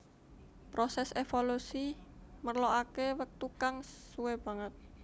Prosès évolusi merlokaké wektu kang suwé banget